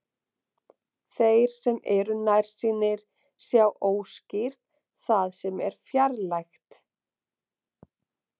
Þeir sem eru nærsýnir sjá óskýrt það sem er fjarlægt.